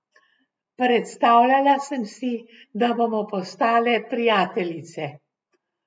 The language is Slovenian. Predstavljala sem si, da bomo postale prijateljice.